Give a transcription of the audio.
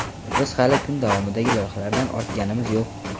Biz hali kun davomidagi loyihalardan ortganimiz yo‘q.